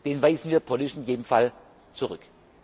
Den weisen wir politisch in jedem Fall zurück.